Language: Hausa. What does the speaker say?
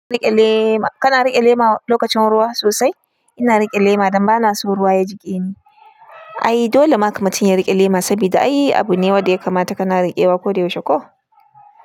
Rike lema, kana rike lema lokacin ruwa sosai? Ina rike lema don ba na so ruwa ya jiƙe ni. Ai dole maka mutum ya rike lema sabida ai abu ne wanda ya kamata kana riƙewa koyaushe ko?